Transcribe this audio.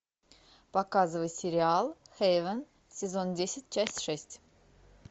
показывай сериал хейвен сезон десять часть шесть